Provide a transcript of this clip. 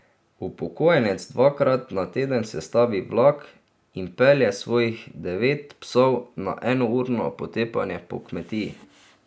Upokojenec dvakrat na teden sestavi vlak in pelje svojih devet psov na enourno potepanje po kmetiji.